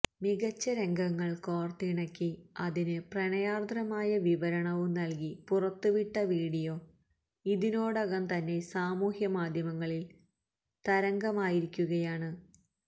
മികച്ച രംഗങ്ങള് കോര്ത്തിണക്കി അതിന് പ്രണയാര്ദ്രമായ വിവരണവും നല്കി പുറത്തുവിട്ട വീഡിയോ ഇതിനോടകം തന്നെ സമൂഹമാധ്യമങ്ങളില് തരംഗമായിരിക്കുകയാണ്